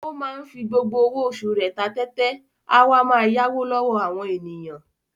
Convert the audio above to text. Ó máa ń fi gbogbo owó oṣù rẹ̀ ta tẹ́tẹ́, a wá máa yáwó lọ́wọ́ àwọn ènìyàn.